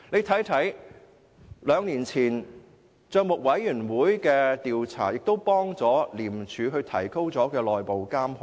大家可以看到，帳委會兩年前的調查亦有助廉署提高內部監控。